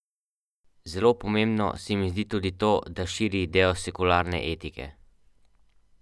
Bralka meni, da v življenju ni nič tako, kot si želi.